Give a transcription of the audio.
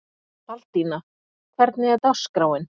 Baldína, hvernig er dagskráin?